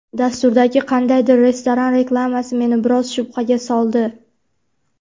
Dasturdagi qandaydir restoran reklamasi meni biroz shubhaga soldi.